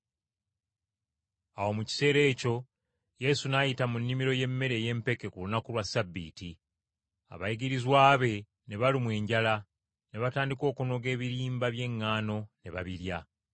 Awo mu kiseera ekyo Yesu n’ayita mu nnimiro y’emmere ey’empeke ku lunaku lwa Ssabbiiti. Abayigirizwa be ne balumwa enjala ne batandika okunoga ebirimba by’eŋŋaano ne babirya.